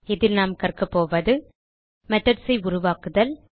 இதில் நாம் கற்கபோவது மெத்தோட் ஐ உருவாக்குதல்